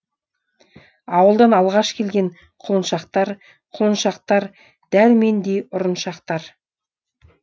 ауылдан алғаш келген құлыншақтар құлыншақтар дәл мендей ұрыншақтар